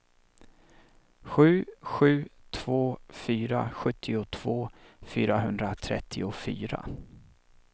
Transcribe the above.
sju sju två fyra sjuttiotvå fyrahundratrettiofyra